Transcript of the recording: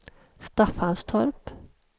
Staffanstorp